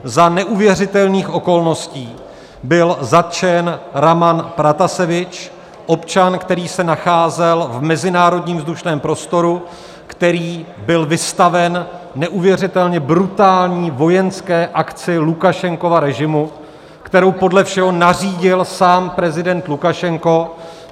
Za neuvěřitelných okolností byl zatčen Raman Pratasevič, občan, který se nacházel v mezinárodním vzdušném prostoru, který byl vystaven neuvěřitelně brutální vojenské akci Lukašenkova režimu, kterou podle všeho nařídil sám prezident Lukašenko.